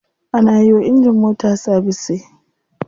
Ana yiwa injin mota sabise.